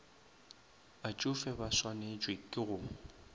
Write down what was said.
batšofe ba swantšwe ke go